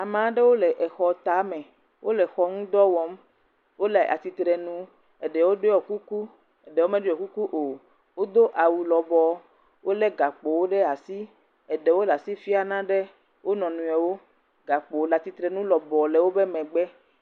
Ame aɖewo le exɔ tame, wole exɔ ŋudɔ wɔm, wole atsitre nu eɖewo ɖɔ kuku, eɖewo meɖɔ kuku o. Wodo awu lɔbɔɔ, wolé gakpowo ɖe asi, eɖewo le asi fiam nane wo nɔnɔewo, gakpo le atsitre nu lɔbɔɔ le wo megbe.